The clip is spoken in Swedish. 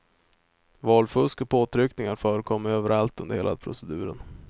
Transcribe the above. Valfusk och påtryckningar förekom överallt under hela proceduren.